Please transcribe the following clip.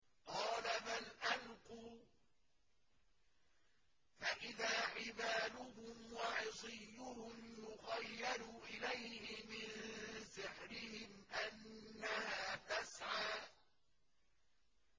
قَالَ بَلْ أَلْقُوا ۖ فَإِذَا حِبَالُهُمْ وَعِصِيُّهُمْ يُخَيَّلُ إِلَيْهِ مِن سِحْرِهِمْ أَنَّهَا تَسْعَىٰ